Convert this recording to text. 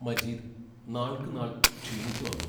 മജീദ് നാൾക്കുനാൾ ക്ഷീണിച്ചുവന്നു.